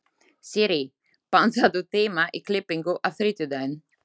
Sirrí, pantaðu tíma í klippingu á þriðjudaginn.